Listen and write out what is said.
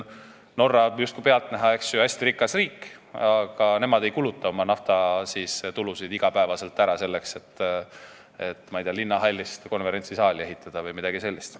Norra on pealtnäha hästi rikas riik, aga nemad ei kuluta oma naftatulusid iga päev ära selleks, et, ma ei tea, linnahallist konverentsisaali ehitada või midagi sellist.